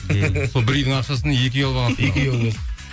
сол бір үйдің ақшасын екі үй алып алғансыңдар ғой